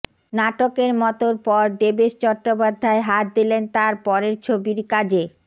নাটকের মতোর পর দেবেশ চট্টোপাধ্যায় হাত দিলেন তাঁর পরের ছবির কাজে